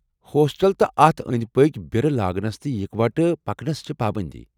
ہوسٹلَس تہٕ اَتھ ٲنٛدۍ پٔکِۍ بیرٕ لاگٕنس تہٕ اكوٹہٕ پکنس چھےٚ پابندی ۔